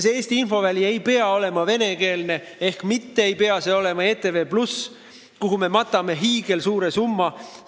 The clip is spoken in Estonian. See Eesti infoväli ei pea olema venekeelne ehk see ei pea olema ETV+, kuhu me matame iga aasta hiigelsuure summa.